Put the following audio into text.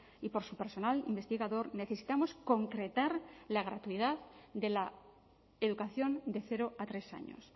y por su personal investigador necesitamos concretar la gratuidad de la educación de cero a tres años